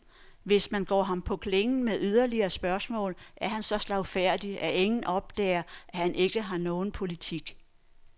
Hvis man går ham på klingen med yderligere spørgsmål, er han så slagfærdig, at ingen opdager, at han ikke har nogen politik.